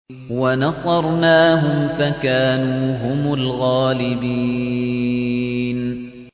وَنَصَرْنَاهُمْ فَكَانُوا هُمُ الْغَالِبِينَ